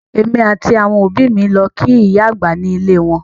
Èmi àti àwọn òbí mi lọ kí ìyá àgbà ní ilé e wọn